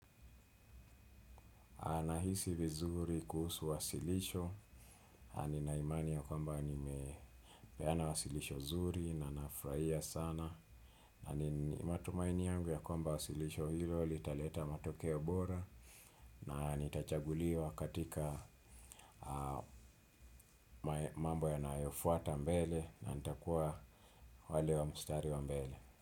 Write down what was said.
Nahisi vizuri kuhusu wasilisho, ni na imani ya kwamba ni mepeana wasilisho zuri na nafurahia sana. Na ni matumaini yangu ya kwamba wasilisho hilo, litaleta matokeo bora na nitachaguliwa katika mambo yanayofuata mbele na nitakuwa wale wa mustari wa mbele.